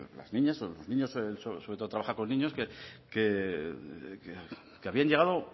las niñas o los niños él sobre todo trabaja con niños que habían llegado